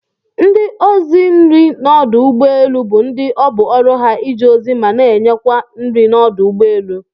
Ndi ọzi nri n'ọdụ egbọ elụ bu ndi ọbụ oru ha ije ozi mana nye kwa nri n'ọdụ ụgbọ elu.